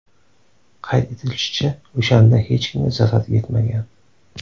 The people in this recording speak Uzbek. Qayd etilishicha, o‘shanda hech kimga zarar yetmagan.